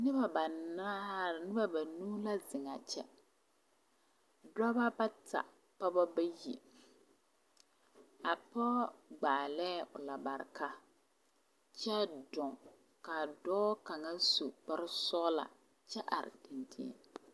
Noba banaare noba banuu la zeŋ a kyɛ dɔba bata pɔgeba bayi a pɔge gbaalee lambareka kyɛ dɔɔ ka a dɔɔ kaŋa su kpare sɔglaa kyɛ are dɛndeŋ.